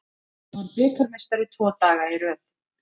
Varð bikarmeistari tvo daga í röð